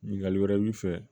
Ɲininkali wɛrɛ y'i fɛ